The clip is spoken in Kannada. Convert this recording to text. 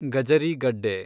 ಗಜರಿ ಗಡ್ಡೆ